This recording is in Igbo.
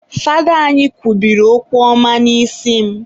Fada anyị kwubiri okwu ọma n'isi m